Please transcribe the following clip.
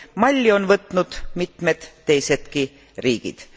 Malli on võtnud mitmed teisedki riigid.